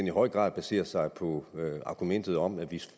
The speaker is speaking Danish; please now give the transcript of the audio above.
i høj grad baserer sig på argumentet om at